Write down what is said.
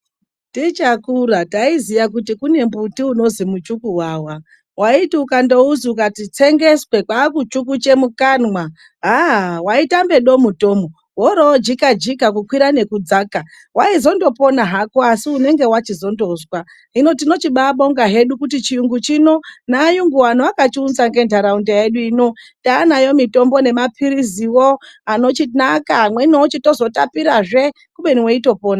Tichakura taiziya kuti kune mbuti unozwi muchukuwawa, waiti ukandouzwi ukati tsengeswe kwakuchukuche mukanwa haaa waitamba domu tomu worojika jika kukwira nekudzaka. Waizondopona hako asi unenge wachizondozwa hino tinochindobabonga hedu kuti chiyungu chino navayungu vano vakachiunza, ngenharaunda yedu ino taanayo mitombo nemapiriziwo anochinaka amweni ochitozotapirazve kubeni weitopona.